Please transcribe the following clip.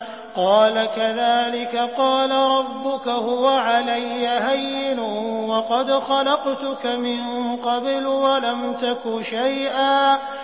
قَالَ كَذَٰلِكَ قَالَ رَبُّكَ هُوَ عَلَيَّ هَيِّنٌ وَقَدْ خَلَقْتُكَ مِن قَبْلُ وَلَمْ تَكُ شَيْئًا